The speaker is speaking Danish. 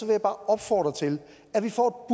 jeg bare opfordre til at vi får